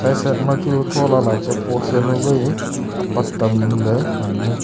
side side ma chu thola la pe post jawnu wai apat tam ley ngan ley.